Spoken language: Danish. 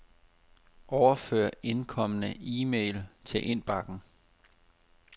Overfør indkomne e-mail til indbakken.